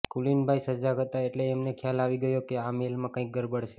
કુલીનભાઈ સજાગ હતા એટલે એમને ખ્યાલ આવી ગયો કે આ મેઇલમાં કંઈક ગરબડ છે